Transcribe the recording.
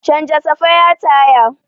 Canja safaya taya.